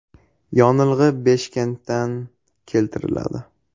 Yonilg‘i Beshkentdan keltiriladi.